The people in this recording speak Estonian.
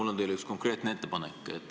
Mul on teile üks konkreetne ettepanek.